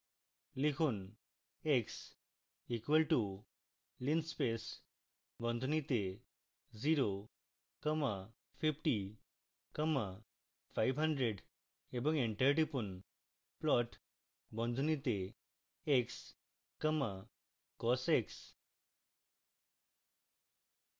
লিখুন: